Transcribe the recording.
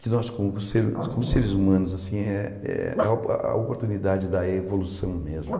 que nós, como se como seres humanos assim, é é a o a oportunidade da evolução mesmo.